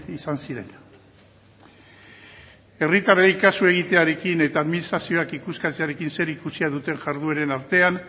izan ziren herritarrei kasu egitearekin eta administrazioak ikuskatzearekin zerikusia duten jardueren artean